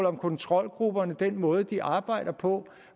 om kontrolgrupperne altså den måde de arbejder på